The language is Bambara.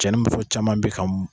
Cɛ ni muso caman bɛ ka